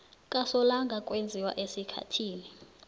kasolanga kwenziwa esikhathini